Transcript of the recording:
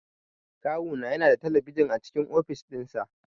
Kawu na yana da talabijin a cikin ofis din sa.